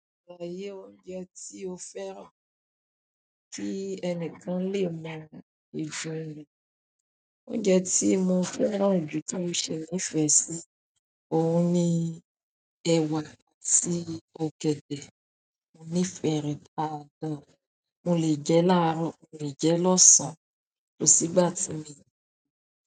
Saláyé oúnjẹ tí o fẹ́ràn tí ẹnìkan lè mọ ìjóna rẹ̀. Oúnjẹ tí mo fẹ́ràn jù tí ó ṣe ní ìfẹ́ sí òun ni ẹ̀wà àti ọ̀gẹ̀dẹ̀. Mò ní ìfẹ́ rẹ̀ dáadáa. Mo lè jẹ́ láàárọ̀, mo lè jẹ́ lọ́sàn-án kò sígbà tí mi o le jẹ́.